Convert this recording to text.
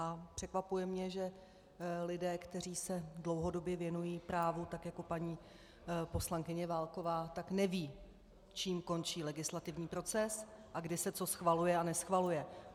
A překvapuje mě, že lidé, kteří se dlouhodobě věnují právu tak jako paní poslankyně Válková, tak nevědí, čím končí legislativní proces a kdy se co schvaluje a neschvaluje.